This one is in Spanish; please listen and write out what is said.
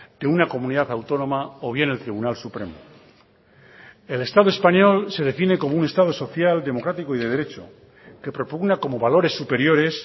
de una comunidad autónoma o bien el tribunal supremo el estado español se define como un estado social democrático y de derecho que propugna como valores superiores